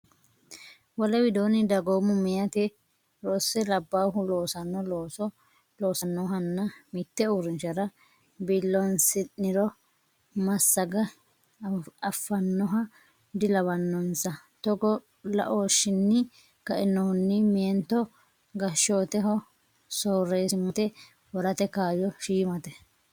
Wole widoonni dagoomu meyati rosse labbaahu loosanno looso loossannohanna mitte uurrinshara biiloonsiniro massagge affannoha dilawannonsa Togoo laooshshinni kainohunni meento gashshoteho soorreessimmate worate kaayyo shiimate.